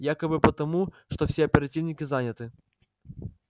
якобы потому что все оперативники заняты